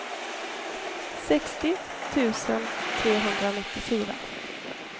sextio tusen trehundranittiofyra